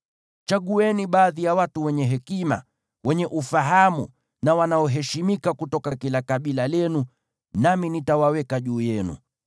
Chagueni baadhi ya watu wenye hekima, wenye ufahamu na wanaoheshimika kutoka kila kabila lenu, nami nitawaweka juu yenu.”